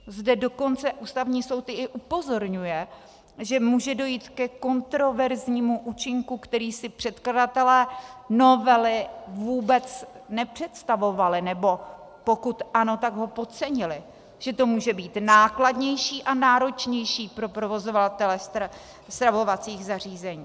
Zde dokonce Ústavní soud i upozorňuje, že může dojít ke kontroverznímu účinku, který si předkladatelé novely vůbec nepředstavovali, nebo pokud ano, tak ho podcenili, že to může být nákladnější a náročnější pro provozovatele stravovacích zařízení.